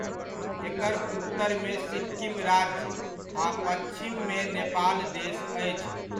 एकर उत्तरमे सिक्किम राज्य आ पच्छिममे नेपाल देश अछि।